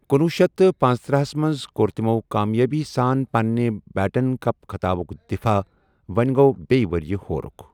کنۄہ شیتھ تہٕ پنژتٔرہ ہس منٛز كور تٕمو کامیٲبی سان پنٕنہِ بیٹَن کپ خٕطابُك دفاہ ،وونہِ گو٘ بیٚیہِ ؤرِیہٕ ہوٗرُکھ ۔